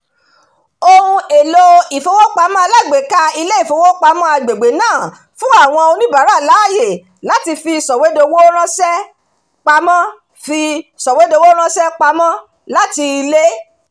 ohun-èlò ìfowópamọ́ alágbèéká ilé ìfowópamọ́ agbègbè náà fún àwọn oníbàárà láàyè láti fi sọ̀wédowó ránṣẹ́-pamọ́ fi sọ̀wédowó ránṣẹ́-pamọ́ láti ilé